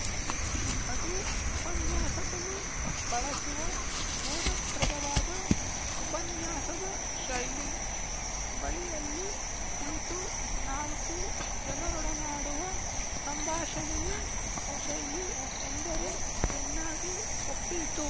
ಅದು ಉಪನ್ಯಾಸಕನು ಬಳಸುವ ಬೋಧಪ್ರದವಾದ ಉಪನ್ಯಾಸದ ಶೈಲಿ ಬಳಿಯಲ್ಲಿ ಕುಳಿತು ನಾಲ್ಕು ಜನರೊಡನಾಡುವ ಸಂಭಾಷಣೆಯೆ ಶೈಲಿ ಎಂದರೆ ಚೆನ್ನಾಗಿ ಒಪ್ಪೀತು